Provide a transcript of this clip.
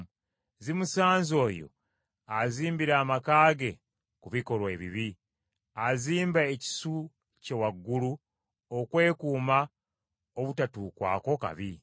Zimusanze oyo azimbira amaka ge ku bikolwa ebibi, azimba ekisu kye waggulu, okwekuuma obutatuukwako kabi!